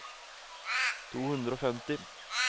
to hundre og femti